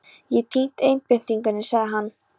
Ég hef týnt einbeitingunni, sagði hann.